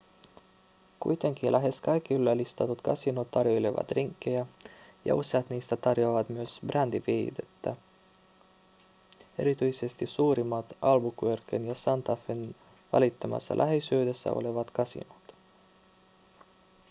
kuitenkin lähes kaikki yllä listatut kasinot tarjoilevat drinkkejä ja useat niistä tarjoavat myös brändiviihdettä erityisesti suurimmat albuquerquen ja santa fen välittömässä läheisyydessä olevat kasinot